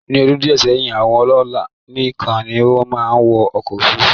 Ní ọdún díẹ̀ sẹ́yìn, àwọn ọlọ́lá nìkan ni ó máa ń wọ ọkọ̀ òfurufú